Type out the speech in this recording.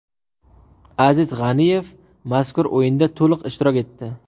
Aziz G‘aniyev mazkur o‘yinda to‘liq ishtirok etdi.